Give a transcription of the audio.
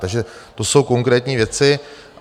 Takže to jsou konkrétní věci.